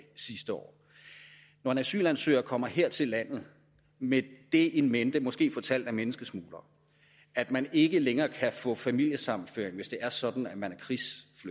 sidste år når en asylansøger kommer her til landet med det in mente måske fortalt af menneskesmuglere at man ikke længere kan få familiesammenføring hvis det er sådan at man